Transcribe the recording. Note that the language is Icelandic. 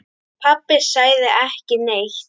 Pabbi sagði ekki neitt.